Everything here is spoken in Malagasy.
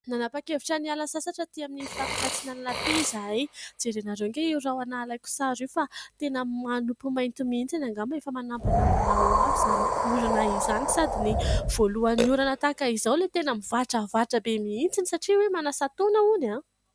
Nanapan-kevitra ny hiala sasatra aty amin'ny faritra antsinanana aty izahay jerenareo ange io rahona alaiko sary io fa tena manopy mainty mihitsy angamba efa manambanambana ho avy izany orana izany sady ny voalohan'ny orana tahaka izao ilay tena mivatravatra be mihitsy satria hoe manasa-taona hono